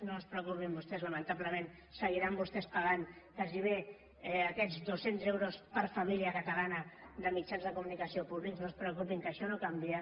no es preocupin vostès lamentablement seguiran vostès pagant gairebé aquests dos cents euros per família catalana de mitjans de comunicació públics no es preocupin que això no canvia